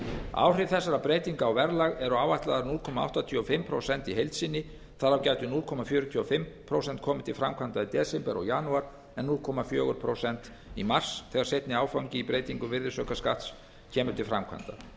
áhrif þessara breytinga á verðlag eru áætluð núll komma áttatíu og fimm prósent í heild sinni þar af gætu núll komma fjörutíu og fimm prósent komið til framkvæmda í desember og janúar en núll komma fjögur prósent í mars þegar seinni áfangi í breytingum virðisaukaskatts kemur til framkvæmda